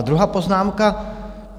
A druhá poznámka.